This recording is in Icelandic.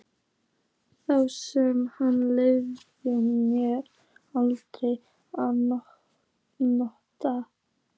Þá sem hann leyfði mér aldrei að nota.